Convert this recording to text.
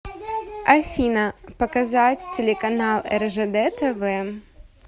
афина показать телеканал ржд тв